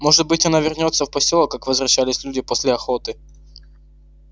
может быть она вернётся в посёлок как возвращались люди после охоты